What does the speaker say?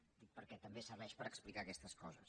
ho dic perquè també serveix per explicar aquestes coses